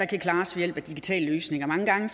kan klares ved hjælp af digitale løsninger mange gange